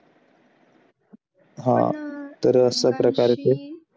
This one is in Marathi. हा